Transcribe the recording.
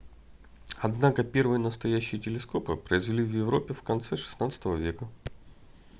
однако первые настоящие телескопы произвели в европе в конце xvi века